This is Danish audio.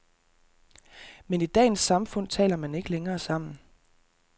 Men i dagens samfund taler man ikke længere sammen.